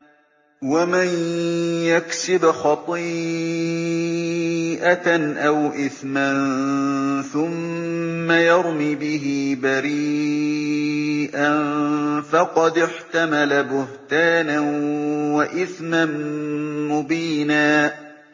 وَمَن يَكْسِبْ خَطِيئَةً أَوْ إِثْمًا ثُمَّ يَرْمِ بِهِ بَرِيئًا فَقَدِ احْتَمَلَ بُهْتَانًا وَإِثْمًا مُّبِينًا